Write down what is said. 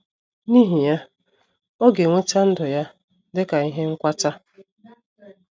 N’ihi ya, ọ ga - enweta ‘‘ ndụ ya dị ka ihe nkwata. ’